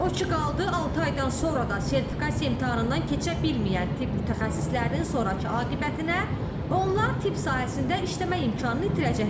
O ki qaldı altı aydan sonra da sertifikasiya imtahanından keçə bilməyən tibb mütəxəssislərinin sonrakı aqibətinə, onlar tibb sahəsində işləmə imkanını itirəcəklər.